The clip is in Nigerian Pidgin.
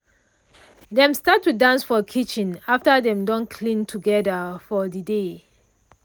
dem start to dance for kitchen after dem don clean together for de day.